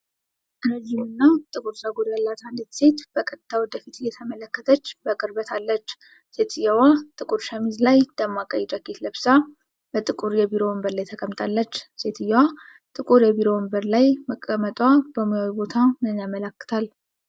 ረዥምና ጥቁር ፀጉር ያላት አንዲት ሴት በቀጥታ ወደ ፊት እየተመለከተች በቅርበት አለች። ሴትየዋ ጥቁር ሸሚዝ ላይ ደማቅ ቀይ ጃኬት ለብሳ በጥቁር የቢሮ ወንበር ላይ ተቀምጣለች። ሴትየዋ ጥቁር የቢሮ ወንበር ላይ መቀመጧ በሙያዊ ቦታ ምን ያመለክታል?